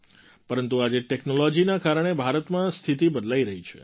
પરંતુ આજે ટૅક્નૉલૉજીના કારણે ભારતમાં સ્થિતિ બદલાઈ રહી છે